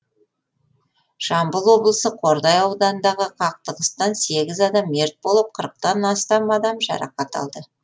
жамбыл облысы қордай ауданындағы қақтығыстан сегіз адам мерт болып қырықтан астам адам жарақат алды